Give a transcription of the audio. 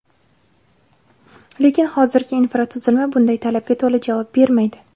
Lekin hozirgi infratuzilma bunday talabga to‘la javob bermaydi.